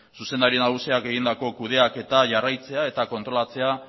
zuzendari nagusiak egindako kudeaketa jarraitzea eta kontrolatzea